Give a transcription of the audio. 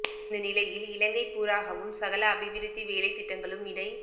இந்த நிலையில் இலங்கை பூராகவும் சகல அபிவிருத்தி வேலைத் திட்டங்களும் இடை